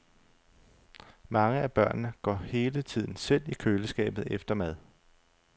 Mange af børnene går hele tiden selv i køleskabet efter mad.